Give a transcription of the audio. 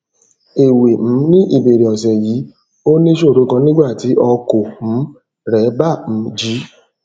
èwè um ní ìbèrè òsè yìí ó níṣòro kan nígbà tí ọkò um rè bà um jé